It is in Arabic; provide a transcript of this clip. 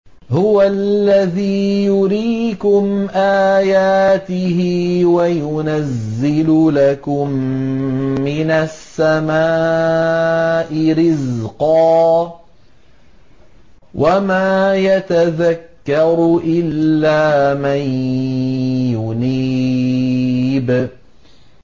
هُوَ الَّذِي يُرِيكُمْ آيَاتِهِ وَيُنَزِّلُ لَكُم مِّنَ السَّمَاءِ رِزْقًا ۚ وَمَا يَتَذَكَّرُ إِلَّا مَن يُنِيبُ